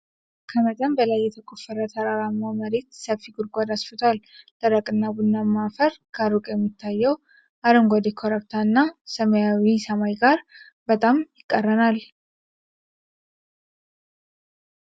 ከመጠን በላይ የተቆፈረ ተራራማ መሬት ሰፊ ጉድጓድ አስፍቷል። ደረቅና ቡናማ አፈር ከሩቅ ከሚታየው አረንጓዴ ኮረብታ እና ከሰማያዊ ሰማይ ጋር በጣም ይቃረናል።